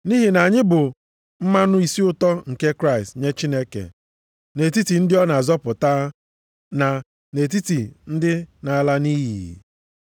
Nʼihi na anyị bụ mmanụ isi ụtọ nke Kraịst nye Chineke, nʼetiti ndị ọ na-azọpụta na nʼetiti ndị na-ala nʼiyi.